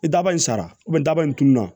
I daba in sara daba in tununa